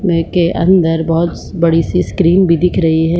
VK अंदर बहुत बड़ी सी स्क्रीन भी दिख रही है।